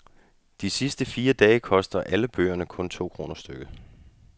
De sidste fire dage koster alle bøgerne kun to kroner stykket.